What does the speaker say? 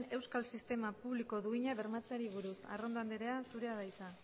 euskal sistema publiko duina bermatzeari buruz arrondo andrea zurea da hitza